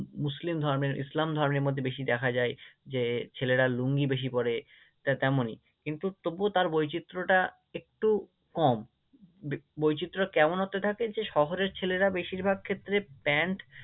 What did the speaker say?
মুসলিম ধর্মের, ইসলাম ধর্মের মধ্যে বেশি দেখা যায় যে ছেলেরা লুঙ্গি বেশি পড়ে, তা তেমনই কিন্তু তবুও তার বৈচিত্র্যটা একটু কম বৈচিত্র্যটা কেমন অর্থে থাকে যে শহরের ছেলেরা বেশিরভাগ ক্ষেত্রে প্যান্ট